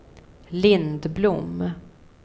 Lindblom